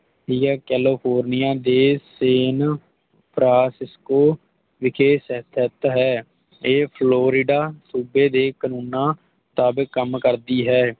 PL kelecorniya ਦੇ San ਪ੍ਰਾਂਤ ਵਿਖੇ ਸਥਿਤ ਹੈ ਇਹ Florida ਸੂਬੇ ਦੇ ਕਾਨੂੰਨਾਂ ਮੁਤਾਬਿਕ ਕੰਮ ਕਰਦੀ ਹੈ